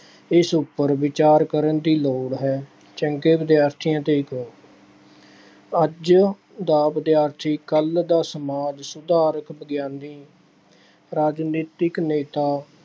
ਇਸ ਉੱਪਰ ਵਿਚਾਰ ਕਰਨ ਦੀ ਲੋੜ ਹੈ। ਚੰਗੇ ਵਿਦਿਆਰਥੀਆਂ ਦੇ ਗੁਣ- ਅੱਜ ਦਾ ਵਿਦਿਆਰਥੀ ਕੱਲ੍ਹ ਦਾ ਸਮਾਜ ਸੁਧਾਰਕ, ਵਿਗਿਆਨੀ ਰਾਜਨੀਤਿਕ ਨੇਤਾ